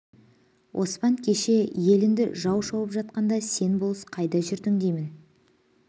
оспан кеше елінді жау шауып жатқанда сен болыс қайда жүрдің деймін